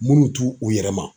Minnu t'u u yɛrɛ ma.